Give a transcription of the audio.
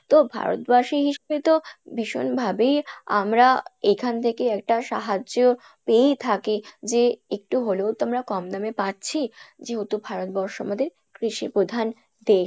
তো ভারতবাসী হিসেবে তো ভীষন ভাবেই আমরা এখান থেকে একটা সাহায্য পেয়েই থাকি যে একটু হলেও তো আমরা কম দামে পাচ্ছি যেহেতু ভারতবর্ষ আমাদের কৃষি প্রধান দেশ।